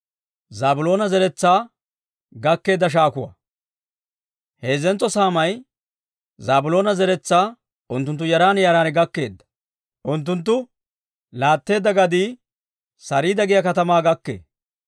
Heezzentso saamay Zaabiloona zeretsaa unttunttu yaran yaran gakkeedda. Unttunttu laatteedda gadii Sariida giyaa katamaa gakkee.